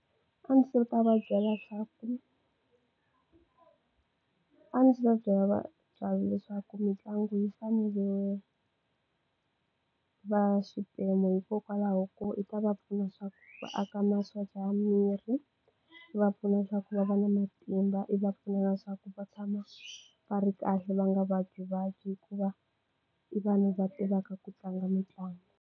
A ndzi ta va byela swa ku, a ndzi ta byela va vatlangi leswaku mitlangu yi fanele va xiphemu hikokwalaho ko i ta va pfuna leswaku va aka masocha ya miri, va pfuna leswaku va va na matimba, i va pfuna swa ku va tshama va ri kahle va nga vabya vabyi hikuva i vanhu va tivaka ku tlanga mitlangu.